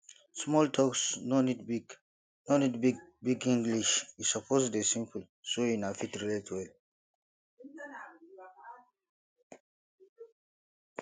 small talks no need big no need big big english e suppose de simple so una fit relate well